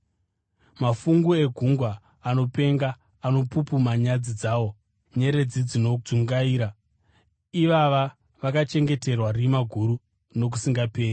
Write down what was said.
Mafungu egungwa anopenga, anopupuma nyadzi dzawo; nyeredzi dzinodzungaira, ivava vakachengeterwa rima guru nokusingaperi.